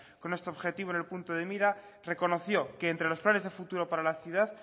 con este objetivo en el punto de mira reconoció que entre los planes de futuro para la ciudad